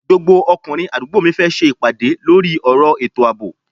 Gbogbo ọkùnrin àdúgbò mi fẹ́ ṣe ìpàdé lórí ọ̀rọ̀ ètò àbò